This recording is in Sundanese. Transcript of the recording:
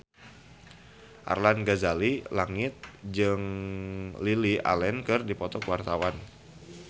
Arlanda Ghazali Langitan jeung Lily Allen keur dipoto ku wartawan